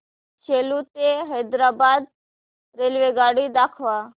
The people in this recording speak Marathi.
सेलू ते हैदराबाद रेल्वेगाडी दाखवा